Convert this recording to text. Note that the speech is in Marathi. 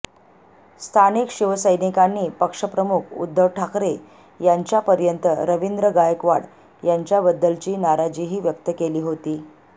स्थानिक शिवसैनिकांनी पक्षप्रमुख उद्धव ठाकरे यांच्यापर्यंत रवींद्र गायकवाड यांच्याबद्दलची नाराजीही व्यक्त केली होती